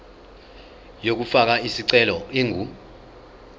yokufaka isicelo ingu